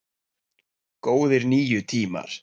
Góðir níu tímar!